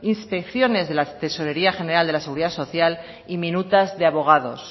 inspecciones de la tesorería general de la seguridad social y minutas de abogados